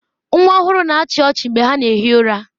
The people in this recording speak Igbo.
Nwa ọhụrụ na-achị ọchị mgbe ha na ehi ụra.